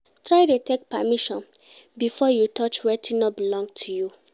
Try de take permission before you touch wetin no belong to you